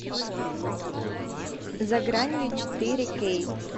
за гранью четыре кей